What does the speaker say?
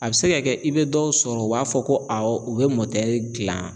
A bɛ se ka kɛ i bɛ dɔw sɔrɔ u b'a fɔ ko awɔ u bɛ gilan